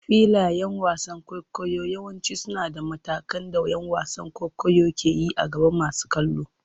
Filayen wasan kwaikwayo yawanci suna da matakan da ƴan wasan kwaikwayo ke yi a gaban masu kallo.